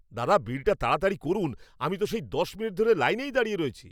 দাদা, বিলটা তাড়াতাড়ি করুন! আমি তো সেই দশ মিনিট ধরে লাইনেই দাঁড়িয়ে রয়েছি।